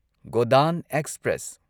Godan express